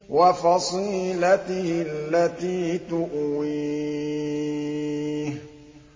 وَفَصِيلَتِهِ الَّتِي تُؤْوِيهِ